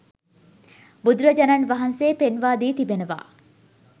බුදුරජාණන් වහන්සේ පෙන්වා දී තිබෙනවා